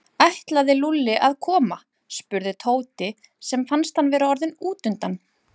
Ætlaði Lúlli að koma? spurði Tóti sem fannst hann vera orðinn útundan.